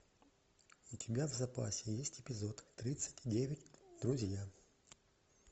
у тебя в запасе есть эпизод тридцать девять друзья